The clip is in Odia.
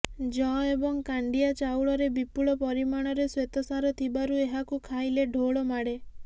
ଯଅ ଏବଂ କାଣ୍ଡିଆ ଚାଉଳରେ ବିପୁଳ ପରିମାଣରେ ଶ୍ୱେତସାର ଥିବାରୁ ଏହାକୁ ଖାଇଲେ ଢୋଳ ମାଡ଼େ